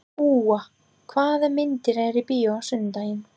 Úa, hvaða myndir eru í bíó á sunnudaginn?